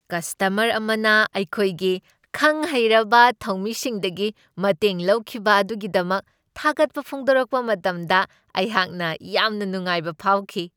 Customer ꯑꯃꯅ ꯑꯩꯈꯣꯏꯒꯤ ꯈꯪ ꯍꯩꯔꯕ ꯊꯧꯃꯤꯁꯤꯡꯗꯒꯤ ꯃꯇꯦꯡ ꯂꯧꯈꯤꯕ ꯑꯗꯨꯒꯤꯗꯃꯛ ꯊꯥꯒꯠꯄ ꯐꯣꯡꯗꯣꯛꯔꯛꯄ ꯃꯇꯝꯗ ꯑꯩꯍꯥꯛꯅ ꯌꯥꯝꯅ ꯅꯨꯡꯉꯥꯏꯕ ꯐꯥꯎꯈꯤ ꯫